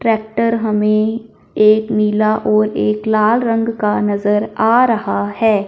Tractor हमें एक नीला और एक लाल रंग का नजर आ रहा है।